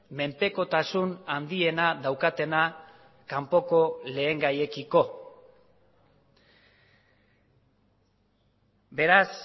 menpekotasun handiena daukatena kanpoko lehengaiekiko beraz